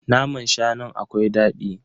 Naman shanun akwai dadi.